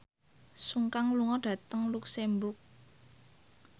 Sun Kang lunga dhateng luxemburg